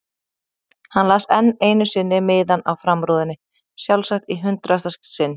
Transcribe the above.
Hann las enn einu sinni miðann á framrúðunni, sjálfsagt í hundraðasta sinn.